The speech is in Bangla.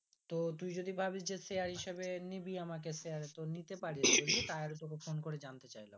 তো তুই যদি ভাবিস যে share হিসাবে নিবি আমাকে share এ তো নিতে পারিস তাহলে তোকে phone করে জানতে চাইলাম